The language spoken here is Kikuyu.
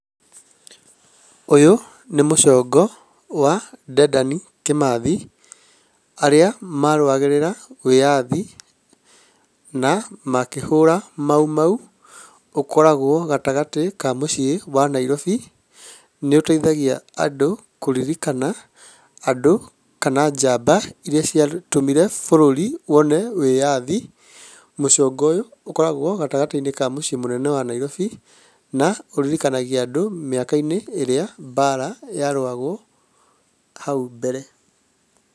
Ũyũ nĩ mũcongo wa Dedan Kĩmathi, arĩa marũagĩrĩra wĩyathi na makĩhũra mau mau. Ũkoragwo gatagatĩ ka mũciĩ wa Nairobi. Nĩũteithagia andũ kũririkana andũ kana njamba iria ciarũ, ciatũmire bũrũri wone wĩyathi. Mũcongoyũ ũkoragwo gatagatĩ-inĩ ka mũciĩ mũnene wa Nairobi na ũririkanagia andũ mĩaka-inĩ ĩrĩa mbara yarũagwo hau mbere.